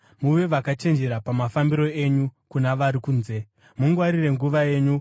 Muve vakachenjera pamafambiro enyu kuna vari kunze; mungwarire nguva yenyu.